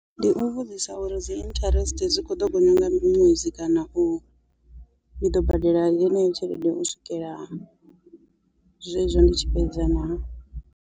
Ndi u vhudzisa uri dzi interest dzi kho ḓo gonya nga ṅwedzi kana u i ḓo badela yeneyo tshelede u swikela zwezwo ndi tshi fhedza naa.